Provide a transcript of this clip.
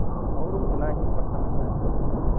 और उतना ही प्रसन्न है